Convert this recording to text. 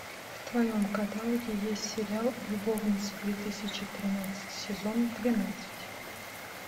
в твоем каталоге есть сериал любовницы две тысячи тринадцать сезон двенадцать